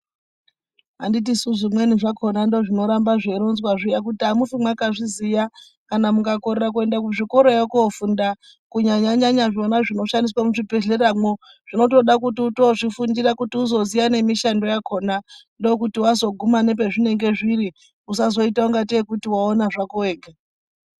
Anditi suu zvimweni zvakona ndo zvino ramba zvei ronzwa zviya kuti amufi mwaka zviziya kana muka korera kuenda ku zvikorako ko funda ku nyanya nyanya zvona zvino shandiswa mu zvibhedhlera mwo zvinotoda kuti utozvi fundira kuti uzo ziya ne mishando yakona ndokuti wazo guma nepe zvinenge zviri usazo ita kunga tee kuti waona zvako wega.